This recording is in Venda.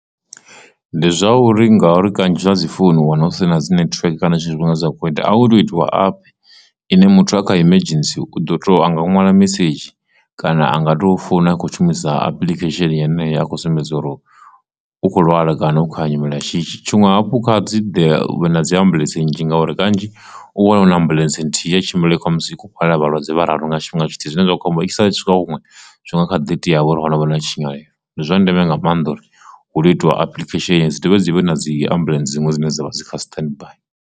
Ndi zwa uri ngauri kanzhi zwa dzi phone u wana hu si na dzi nethiweke kana tshifhinga dza kho ita a hu to u itiwa app ine muthu a kha emergency u do to anga ṅwala mesedzhi kana a nga to founa a kho shumisa application yeneyi ya akho sumbedza uri u kho lwala kana u khou ha nyimele shishi, tshiṅwe hafhu kha dzi vhe na dzi ambuḽentse nnzhi ngauri kanzhi u wana ahuna ambuḽentse nthihi ya tshimbile kha musi tshikhala vhalwadze vha raru nga tshifhinga tshithihi zwine zwa khou amba i sala tshika huṅwe zwi nga kha ḓi tea havho uri honovho na tshinyalelo. Ndi zwa ndeme nga maanḓa uri hu lwo itiwa application dzi dovhe dzi vhe na dzi ambulence dziṅwe dzine dzavha dzi kha standby.